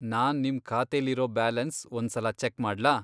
ನಾನ್ ನಿಮ್ ಖಾತೆಲಿರೋ ಬ್ಯಾಲೆನ್ಸ್ ಒಂದ್ಸಲ ಚೆಕ್ ಮಾಡ್ಲಾ?